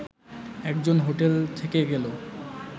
একজন হোটেল থেকে গেলেও